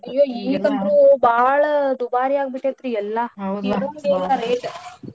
ಅಯ್ಯೋ ಈಗಂತ್ರುೂ ಬಾಳ ದುಬಾರೀ ಆಗ್ಬಿಟ್ಟೆತ್ರಿ ಎಲ್ಲಾ ಕೇಳುಂಗೆೇಲ್ಲಾ rate .